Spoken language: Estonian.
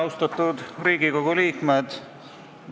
Austatud Riigikogu liikmed!